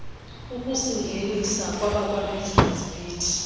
ukusingenisa kwabakwabusiness beat